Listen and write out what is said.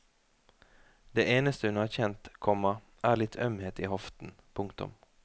Det eneste hun har kjent, komma er litt ømhet i hoften. punktum